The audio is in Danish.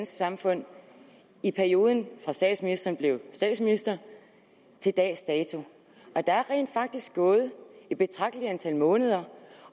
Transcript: samfund i perioden fra statsministeren blev statsminister til dags dato der er rent faktisk gået et betragteligt antal måneder